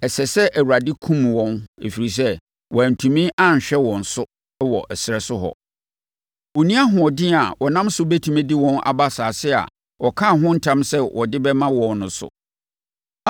‘ɛsɛ sɛ Awurade kum wɔn, ɛfiri sɛ, wantumi anhwɛ wɔn so wɔ ɛserɛ so hɔ. Ɔnni ahoɔden a ɔnam so bɛtumi de wɔn aba asase a ɔkaa ho ntam sɛ ɔde bɛma wɔn no so.’